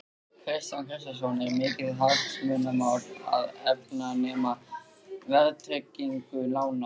Kristján Kristjánsson: Er mikið hagsmunamál að afnema verðtryggingu lána?